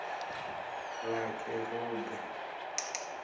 vhakerube